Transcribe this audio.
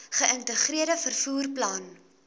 geïntegreerde vervoer plan